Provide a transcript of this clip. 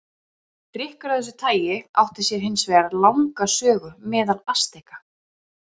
Drykkur af þessu tagi átti sér hins vegar langa sögu meðal Asteka.